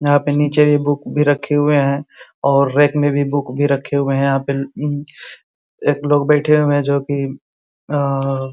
यहाँ पे नीचे भी बुक भी रखे हुए हैं और रेक में भी बुक भी रखे हुए हैं यहाँ पे उम एक लोग बैठे हुए है जोकि आआ --